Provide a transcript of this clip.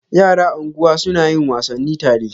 Yara anguwa suna yin wasanni tare.